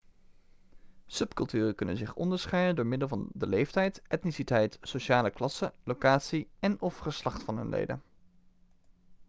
subculturen kunnen zich onderscheiden door middel van de leeftijd etniciteit sociale klasse locatie en/of geslacht van hun leden